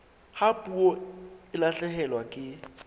ha puo e lahlehelwa ke